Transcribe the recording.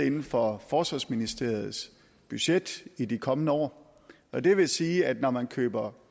inden for forsvarsministeriets budget i de kommende år og det vil sige at når man køber